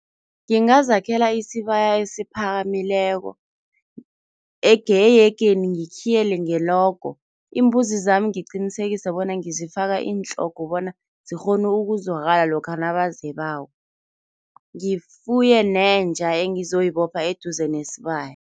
Ngingazakhela isibaya esiphakamileko ehegeni ngikhiyele ngelogo. Iimbuzi zami ngiqinisekise bona ngizifaka iintlhogo bona zikghone ukuzwakala lokha nabazebako. Ngifuye nenja engizoyibopha eduze nesibaya.